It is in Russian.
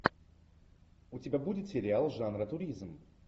у тебя будет сериал жанра туризм